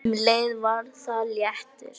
Um leið var það léttir.